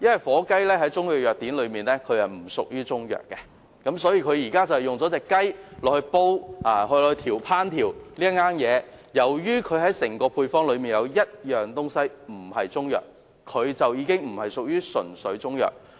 火雞在中藥藥典中不屬於中藥，因此即使這款中藥用這種雞隻烹調而成，但由於這種雞在整道配方中不屬於中藥，因此這款產品不能歸類為"純粹中藥"。